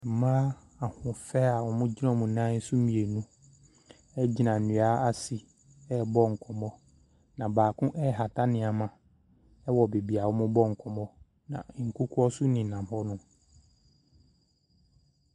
Mmaa ahɔfɛ a wɔn gyina wɔn nan so mmienu agyina nnua ase ɛrebɔ nkɔmmɔ. Na baako ɛrehata nneɛma ɛwɔ beebi wɔn rebɔ nkɔmmɔ no, na nkokɔ nso ɛnenam hɔnom.